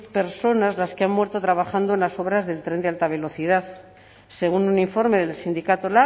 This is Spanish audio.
personas las que han muerto trabajando en las obras del tren de alta velocidad según un informe del sindicato